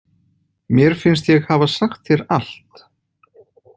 Mér finnst ég hafa sagt þér allt.